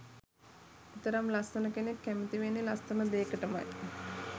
එතරම් ලස්සන කෙනෙක් කැමති වෙන්නෙ ලස්සන දේකටමයි